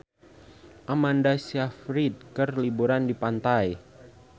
Amanda Sayfried keur liburan di pantai